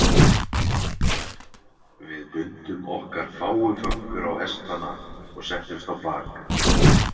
Við bundum okkar fáu föggur á hestana og settumst á bak.